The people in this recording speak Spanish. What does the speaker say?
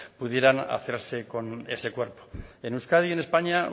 pudieran hacerse con ese cuerpo en euskadi y en españa